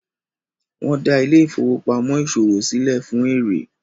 wón dá Ile-ifowopamọ ìṣòwò silẹ fún èrè.